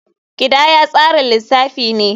Kidaya tsarin lissafi ne.